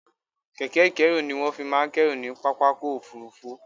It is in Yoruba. Kẹ̀kẹ́ ìkẹ́rù ni wọ́n fi máa ń kẹ́rù ní pápákọ̀ òfurufú